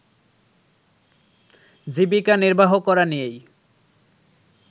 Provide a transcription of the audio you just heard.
জীবিকা নির্বাহ করা নিয়েই